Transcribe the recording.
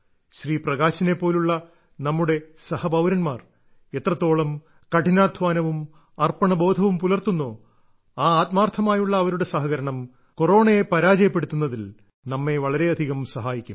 ശ്രീ പ്രകാശിനെ പോലുള്ള നമ്മുടെ പൌരന്മാർ എത്രത്തോളം കഠിനാധ്വാനവും അർപ്പണബോധവും പുലർത്തുന്നോ ആ ആത്മാർത്ഥമായുള്ള അവരുടെ സഹകരണം കൊറോണയെ പരാജയപ്പെടുത്തുന്നതിൽ നമ്മെ വളരെയധികം സഹായിക്കും